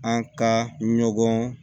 An ka ɲɔgɔn